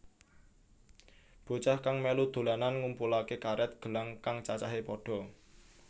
Bocah kang mèlu dolanan ngumpulaké karèt gelang kang cacahé pada